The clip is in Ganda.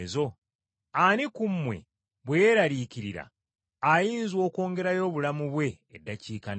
Ani ku mmwe, bwe yeeraliikirira, ayinza okwongerayo obulamu bwe akatundu n’akamu?”